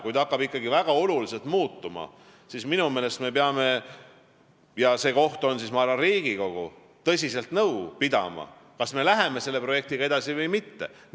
Kui see hakkab ikkagi väga oluliselt muutuma, siis minu meelest me peame tõsiselt nõu pidama – ja see koht on, ma arvan, Riigikogu –, kas me läheme selle projektiga edasi või mitte.